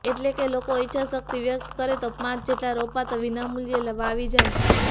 એટલેકે લોકો ઈચ્છાશક્તિ વ્યક્ત કરે તો પાંચ જેટલા રોપા તો વિનામુલ્યે વાવી જાય